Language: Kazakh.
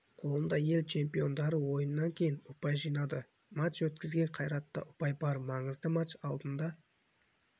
қолында ел чемпиондары ойыннан кейін ұпай жинады матч өткізген қайратта ұпай бар маңызды матч алдында